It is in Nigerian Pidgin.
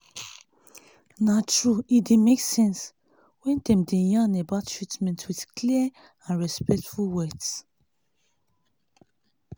na true e dey make sense when dem dey yarn about treatment with clear and respectful words